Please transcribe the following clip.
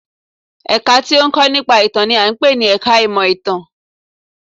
Ẹ̀ka tí ó ń kọ́ nípa ìtàn n i à ń pè ní ẹka ìmọ̀ ìtàn